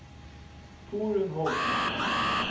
Torunn Hovden